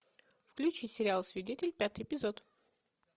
включи сериал свидетель пятый эпизод